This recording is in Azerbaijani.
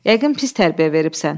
Yəqin pis tərbiyə veribsən.